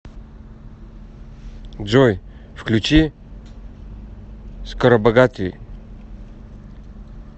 джой включи скоробогатый